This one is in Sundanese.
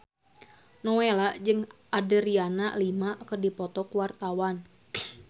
Nowela jeung Adriana Lima keur dipoto ku wartawan